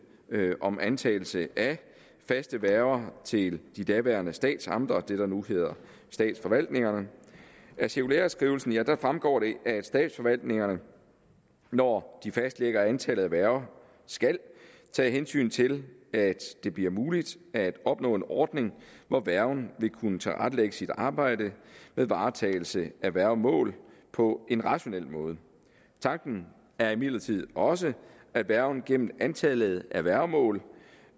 om antagelse af faste værger til de daværende statsamter det der nu hedder statsforvaltningerne af cirkulæreskrivelsen fremgår det at statsforvaltningerne når de fastlægger antallet af værger skal tage hensyn til at det bliver muligt at opnå en ordning hvor værgen vil kunne tilrettelægge sit arbejde med varetagelse af værgemål på en rationel måde tanken er imidlertid også at værgen gennem antallet af værgemål